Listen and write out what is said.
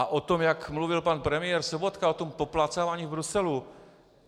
A o tom, jak mluvil pan premiér Sobotka, o tom poplácávání v Bruselu.